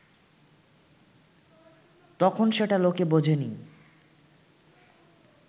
তখন সেটা লোকে বোঝেনি